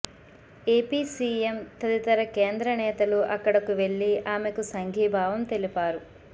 AP CM తదితర కేంద్ర నేతలు అక్కడకు వెళ్లి ఆమెకు సంఘీభావం తెలిపారు